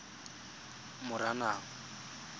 moranang